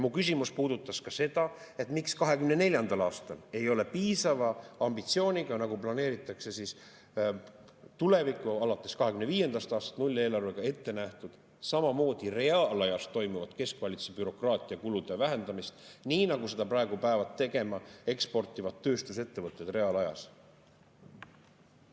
Mu küsimus puudutas ka seda, miks 2024. aastal ei ole piisava ambitsiooniga, nagu planeeritakse tulevikku alates 2025. aastast, nulleelarvega ette nähtud samamoodi reaalajas toimuvat keskvalitsuse bürokraatiakulude vähendamist, nii nagu seda praegu peavad tegema eksportivad tööstusettevõtted reaalajas.